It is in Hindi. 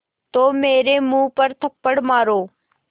तो मेरे मुँह पर थप्पड़ मारो